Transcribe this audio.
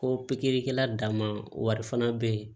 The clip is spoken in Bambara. Ko pikirikɛla danma wari fana bɛ yen